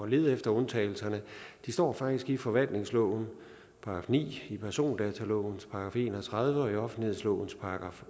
lede efter undtagelserne de står faktisk i forvaltningslovens § ni i persondatalovens § en og tredive og i offentlighedsloven §